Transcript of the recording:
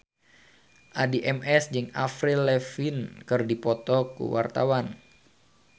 Addie MS jeung Avril Lavigne keur dipoto ku wartawan